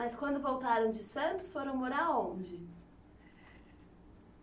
Mas quando voltaram de Santos, foram morar onde?